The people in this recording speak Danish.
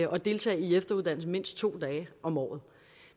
og deltage i efteruddannelse i mindst to dage om året